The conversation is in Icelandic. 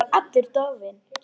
Hann var allur dofinn.